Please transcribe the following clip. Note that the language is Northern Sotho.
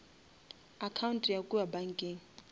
account ya kua bankeng